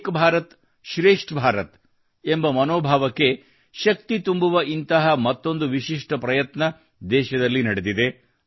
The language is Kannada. ಏಕ್ ಭಾರತ್ ಶ್ರೇಷ್ಠ ಭಾರತ್ ಎಂಬ ಮನೋಭಾವಕ್ಕೆ ಶಕ್ತಿ ತುಂಬುವ ಇಂತಹ ಮತ್ತೊಂದು ವಿಶಿಷ್ಟ ಪ್ರಯತ್ನ ದೇಶದಲ್ಲಿ ನಡೆದಿದೆ